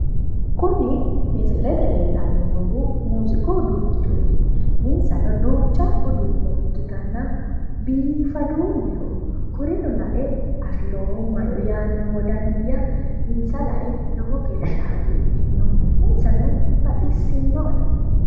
Kuni misilete leellanni noohu muuziiqu uduunnichooti. Insano duucha uduunne ikkitanna biifaduulleho. Kurino lae afiroommaro yaanno wodani'ya insa lea lowo geeshsha hagiidhino. Insano baxissinnoe.